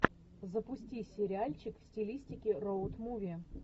запусти сериальчик в стилистике роуд муви